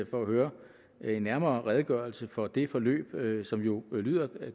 for at høre en nærmere redegørelse for det forløb forløb som jo lyder